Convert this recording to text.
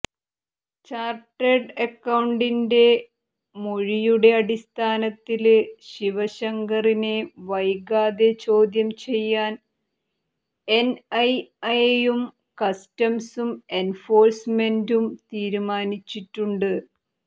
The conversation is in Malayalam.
ചാര്ട്ടേഡ് അക്കൌണ്ടന്റിന്റെ മൊഴിയുടെ അടിസ്ഥാനത്തില് ശിവശങ്കറിനെ വൈകാതെ ചോദ്യം ചെയ്യാന് എന്ഐഎയും കസ്റ്റംസും എന്ഫോഴ്സ്മെന്റും തീരുമാനിച്ചിട്ടുണ്ട്